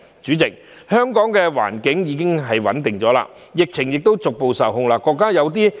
主席，香港的社會環境已經穩定，疫情亦逐步受控。